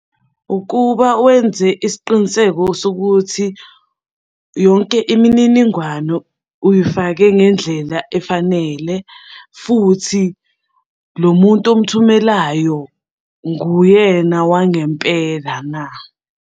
Ukuba wenze isiqiniseko sokuthi yonke imininingwano uyifake ngendlela efanele, futhi lo muntu omuthumelayo nguyena wangempela na.